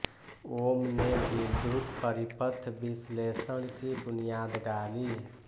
ओम ने विद्युत परिपथ विश्लेषण की बुनियाद डाली